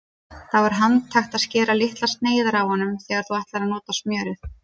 Þá er handhægt að skera litlar sneiðar af honum þegar þú ætlar að nota smjörið.